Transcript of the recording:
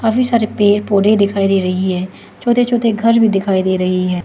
काफी सारे पेड़ पौधे दिखाई दे रही है छोटे छोटे घर भी दिखाई दे रही है।